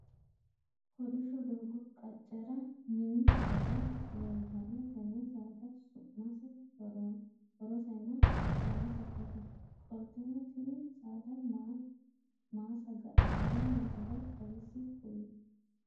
Kolisho doogo qacera minni saada leeltano tenne saada su'mase' horosenna dannase kuli? Qoleno tinni saada maa saga'litanni nooro xawise kuli?